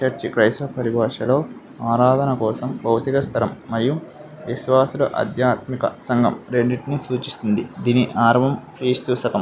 Church క్రైస్తవ పరిభాషలో ఆరాధన కోసం బౌద్ధిక స్థలం మరియు విశ్వాసుల ఆద్యాత్మిక సంఘం రెండిటినీ సూచిస్తుంది. దీని ఆరవం క్రీస్తు శకం --